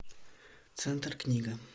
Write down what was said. центр книга